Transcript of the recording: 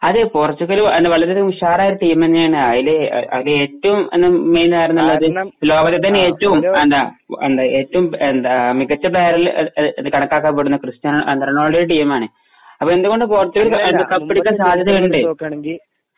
അതേ പോർച്ചുഗൽ വളരെ ഉഷാറായ ഒരു ടീം തന്നെയാണ്. അതില് ഏറ്റവും മെയിൻ ആരെന്നുള്ളത് ലോകത്തിൽ തന്നെ ഏറ്റവും എന്താ മികച്ച കണക്കാക്കാൻ പറ്റുന്ന ക്രിസ്റ്റിയാനോ . അത് എന്തുകൊണ്ടും പോർച്ചുഗൽ കപ്പടിക്കാൻ സാധ്യത ഉണ്ട്.